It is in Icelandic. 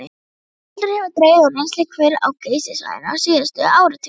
Heldur hefur dregið úr rennsli hvera á Geysissvæðinu síðustu áratugi.